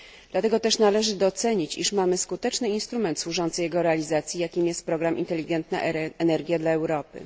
Dlatego też należy docenić, iż mamy skuteczny instrument służący jego realizacji, jakim jest Inteligentna Energia dla Europy.